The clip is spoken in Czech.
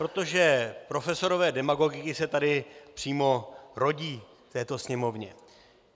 Protože profesoři demagogiky se tady přímo rodí, v této Sněmovně.